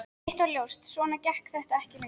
Eitt var öllum ljóst: Svona gekk þetta ekki lengur.